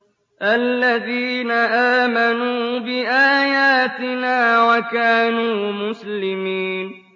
الَّذِينَ آمَنُوا بِآيَاتِنَا وَكَانُوا مُسْلِمِينَ